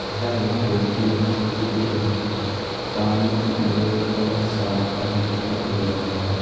यह एक बहोत ही अच्छा चित्र है सामने की ओर एक बड़ा सा मकान दिखाई दे रहा है।